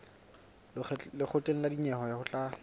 lekgotleng la dinyewe ho tla